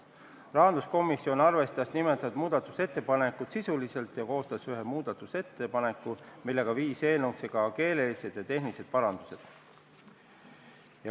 Rahanduskomisjon arvestas seda muudatusettepanekut sisuliselt ja koostas ühe muudatusettepaneku, millega viis eelnõusse ka keelelised ja tehnilised parandused.